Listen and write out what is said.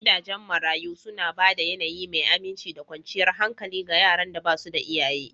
Gidajen marayu suna ba da yAnayi mai aminci da kwanciyar hankali ga yaran da ba su da iyaye